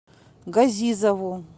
газизову